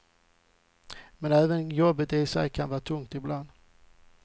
Men även jobbet i sig kan vara tungt ibland.